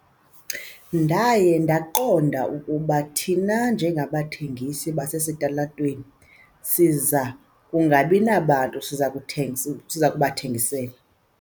Ndaye ndaqonda ukuba thina njengabathengisi basesitalatweni siza kungabi nabantu siza kubathengisela.